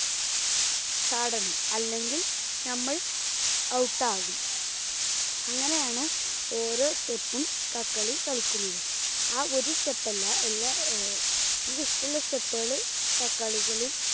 ചാടണം. അല്ലെങ്കിൽ നമ്മൾ out ആകും. അങ്ങനെയാണ് ഓരോ step ും കക്ക് കളി കളിക്കുന്നത്. ആ ഒരു step അല്ല എല്ലാ ആഹ് നമുക്ക് ഇഷ്ടമുള്ള step കള് കക്കാളികളി